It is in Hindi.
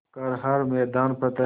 कर हर मैदान फ़तेह